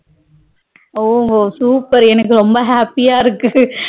ஓஹோ super எனக்கு ரொம்ப happy யா இருக்கு